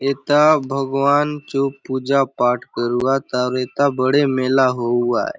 एथा भगवान चो पुजा पाठ करूआत आउर एथा बड़े मेला होऊआय ।